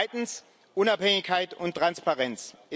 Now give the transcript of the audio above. Zweitens Unabhängigkeit und Transparenz.